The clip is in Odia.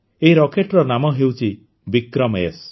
ଏହି ରକେଟ୍ର ନାମ ହେଉଛି ବିକ୍ରମଏସ୍